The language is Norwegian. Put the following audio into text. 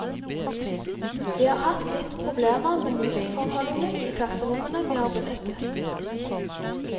Vi har hatt litt problemer med lysforholdene i klasserommene vi har benyttet.